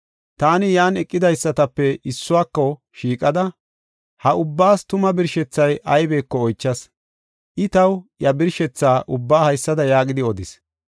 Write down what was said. Taani yan eqidaysatape issuwako shiiqada, ha ubbaas tuma birshethay aybeko oychas. I taw iya birshetha ubbaa haysada yaagidi odis: